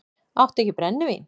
Áttu ekki brennivín?